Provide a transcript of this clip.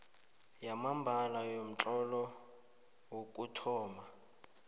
yamambala yomtlolo wokuthoma